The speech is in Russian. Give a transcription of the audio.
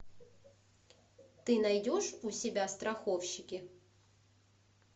ты найдешь у себя страховщики